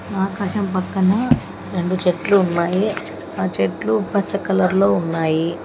ఆకాశం పక్కన రెండు చెట్లు ఉన్నాయి ఆ చెట్లు పచ్చ కలర్లో ఉన్నాయి.